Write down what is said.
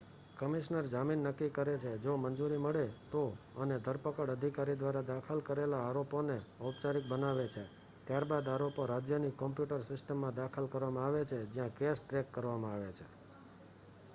commissioner જામીન નક્કી કરે છે જો મંજૂરી મળે તો અને ધરપકડ અધિકારી દ્વારા દાખલ કરેલા આરોપોને ઔપચારિક બનાવે છે ત્યારબાદ આરોપો રાજ્યની કોમ્પ્યુટર સિસ્ટમમાં દાખલ કરવામાં આવે છે જ્યાં કેસ ટ્રેક કરવામાં આવે છે